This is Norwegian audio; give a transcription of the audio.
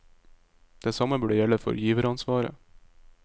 Det samme burde gjelde for giveransvaret.